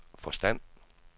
forstand